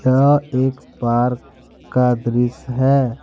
यह एक पार्क का दृश्य है।